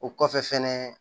O kɔfɛ fɛnɛ